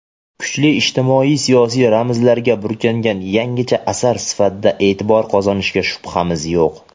kuchli ijtimoiy-siyosiy ramzlarga burkangan yangicha asar sifatida e’tibor qozonishiga shubhamiz yo‘q.